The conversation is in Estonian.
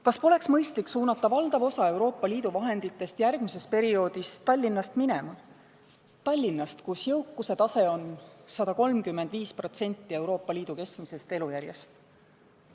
Kas poleks mõistlik suunata valdav osa Euroopa Liidu vahenditest järgmisel perioodil Tallinnast minema – Tallinnast, kus jõukuse tase on 135% Euroopa Liidu keskmisest elujärjest?